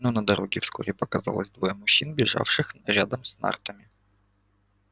но на дороге вскоре показались двое мужчин бежавших рядом с нартами